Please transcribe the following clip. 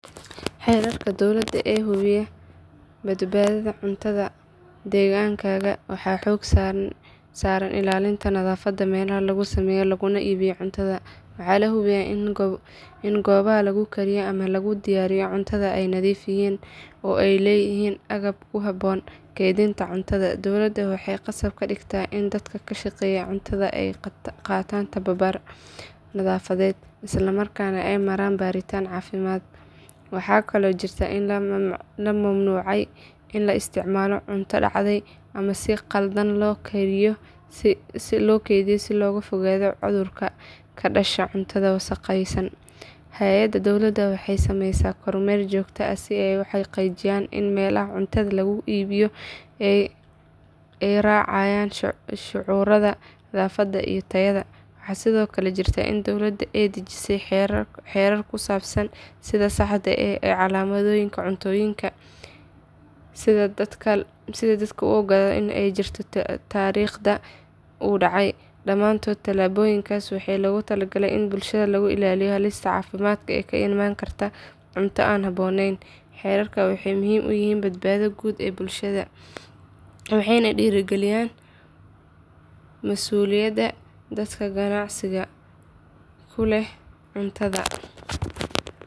Xeerarka dowladda ee hubiya badbaadada cuntada deegaankaaga waxay xooga saaraan ilaalinta nadaafadda meelaha lagu sameeyo laguna iibiyo cuntada. Waxaa la hubiyaa in goobaha lagu kariyo ama lagu diyaariyo cuntada ay nadiif yihiin oo ay leeyihiin agab ku habboon kaydinta cuntada. Dowladda waxay qasab ka dhigtaa in dadka ka shaqeeya cuntada ay qaataan tababar nadaafadeed isla markaana ay maraan baaritaan caafimaad. Waxaa kaloo jirta in la mamnuucay in la isticmaalo cunto dhacday ama si khaldan loo kaydiyey si looga fogaado cudurada ka dhasha cunto wasakhaysan. Hay’adaha dowladda waxay sameeyaan kormeer joogto ah si ay u xaqiijiyaan in meelaha cuntada lagu iibiyo ay raacayaan shuruucda nadaafadda iyo tayada. Waxaa sidoo kale jirta in dowladda ay dejisay xeerar ku saabsan sida saxda ah ee loo calaamadeeyo cuntooyinka si dadka u ogaadaan waxa ku jira iyo taariikhda uu dhacay. Dhammaan talaabooyinkaas waxaa loogu talagalay in bulshada laga ilaaliyo halista caafimaad ee ka imaan karta cunto aan habboonayn. Xeerarkan waxay muhiim u yihiin badbaadada guud ee bulshada waxayna dhiirrigeliyaan masuuliyadda dadka ganacsiga ku leh cuntada.